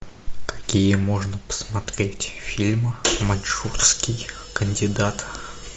какие можно посмотреть фильмы маньчжурский кандидат